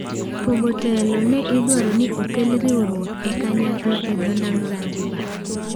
Pogo telo ne idwaro ni okel riwruok e kanyakla e dho nam Zanzibar.